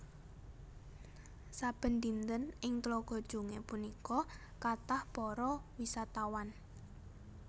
Saben dinten ing Tlaga Jongé punika kathah para wisatawan